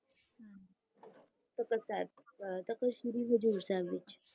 Takht Akal Takht Sri Hazur Sahib